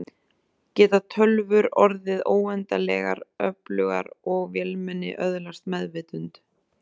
Geta tölvur orðið óendanlegar öflugar og vélmenni öðlast meðvitund?